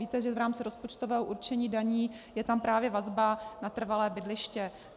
Víte, že v rámci rozpočtového určení daní je tam právě vazba na trvalé bydliště.